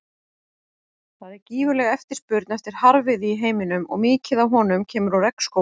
Það er gífurleg eftirspurn eftir harðviði í heiminum og mikið af honum kemur úr regnskógum.